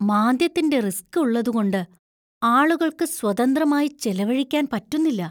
മാന്ദ്യത്തിന്‍റെ risk ഉള്ളത്കൊണ്ട് ആളുകള്‍ക്ക് സ്വതന്ത്രമായി ചെലവഴിക്കാന്‍ പറ്റുന്നില്ല.